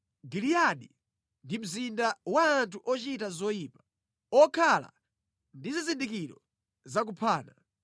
Giliyadi ndi mzinda wa anthu ochita zoyipa, okhala ndi zizindikiro za kuphana.